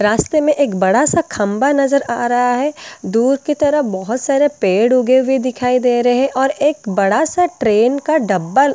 रास्ते में एक बड़ा सा खंभा नज़र आ रहा है दूर की तरफ बहुत सारे पेड़ उगे हुए दिखाई दे रहे है और एक बड़ा सा ट्रेन का डब्बा --